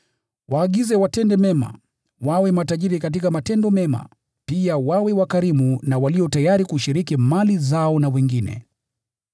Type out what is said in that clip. Waagize watende mema, wawe matajiri katika matendo mema, pia wawe wakarimu na walio tayari kushiriki mali zao na wengine.